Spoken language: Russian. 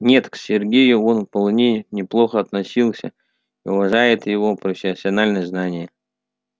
нет к сергею он вполне неплохо относится и уважает его профессиональные знания